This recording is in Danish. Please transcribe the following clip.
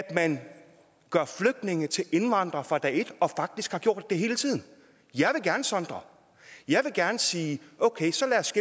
at man gør flygtninge til indvandrere fra dag et og faktisk har gjort det hele tiden jeg vil gerne sondre jeg vil gerne sige at okay så lad os